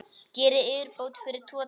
Gerið yfirbót fyrir tvo dali!